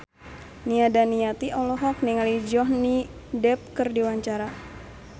Nia Daniati olohok ningali Johnny Depp keur diwawancara